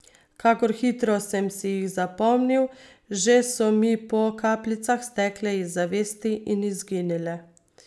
Kakor hitro sem si jih zapomnil, že so mi po kapljicah stekle iz zavesti in izginile.